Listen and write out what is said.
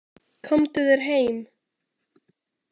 Komdu þér heim!